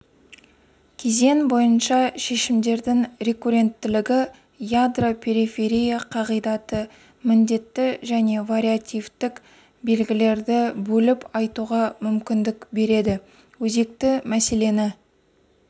кезең бойынша шешімдердің рекурренттілігі ядро-периферия қағидаты міндетті және вариативтік белгілерді бөліп айтуға мүмкіндік береді өзекті мәселені